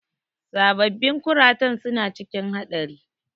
Sababbin kuratan suna cikin haɗari.